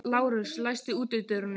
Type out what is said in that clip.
Lárus, læstu útidyrunum.